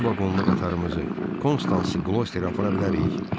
İki vaqonlu qatarımızı, konstansı qlosterə apara bilərik?